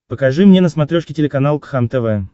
покажи мне на смотрешке телеканал кхлм тв